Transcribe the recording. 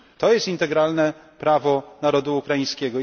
To jest integralne prawo narodu ukraińskiego.